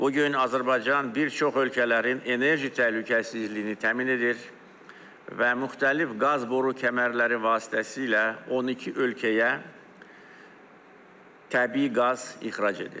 Bu gün Azərbaycan bir çox ölkələrin enerji təhlükəsizliyini təmin edir və müxtəlif qaz boru kəmərləri vasitəsilə 12 ölkəyə təbii qaz ixrac edir.